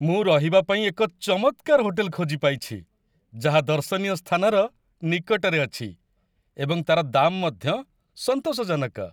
ମୁଁ ରହିବା ପାଇଁ ଏକ ଚମତ୍କାର ହୋଟେଲ ଖୋଜିପାଇଛି, ଯାହା ଦର୍ଶନୀୟ ସ୍ଥାନର ନିକଟରେ ଅଛି ଏବଂ ତା'ର ଦାମ୍ ମଧ୍ୟ ସନ୍ତୋଷଜନକ।